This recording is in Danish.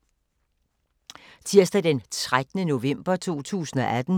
Tirsdag d. 13. november 2018